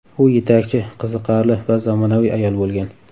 U yetakchi, qiziqarli va zamonaviy ayol bo‘lgan.